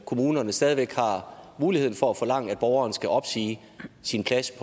kommunerne stadig væk har muligheden for at forlange at borgeren skal opsige sin plads i